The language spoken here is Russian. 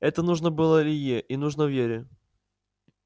это нужно было илье и нужно вере